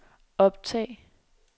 optag